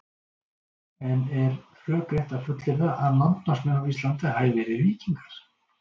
En er rökrétt að fullyrða að landnámsmenn á Íslandi hafi verið víkingar?